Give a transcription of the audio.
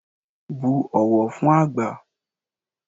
Bu ọ̀wọ̀ fún àgbà